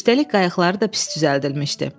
Üstəlik qayıqları da pis düzəldilmişdi.